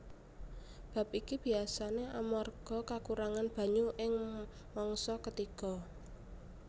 Bab iki biasané amarga kakurangan banyu ing mangsa ketiga